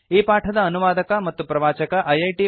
ಈ ಪಾಠದ ಅನುವಾದಕ ಮತ್ತು ಪ್ರವಾಚಕ ಐಐಟಿ